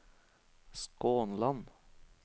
Skånland